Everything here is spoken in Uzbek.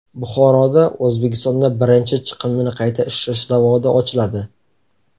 Buxoroda O‘zbekistonda birinchi chiqindini qayta ishlash zavodi ochiladi.